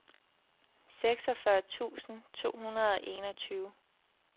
seksogfyrre tusind to hundrede og enogtyve